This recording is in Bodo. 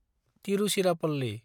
तिरुचिरापल्लि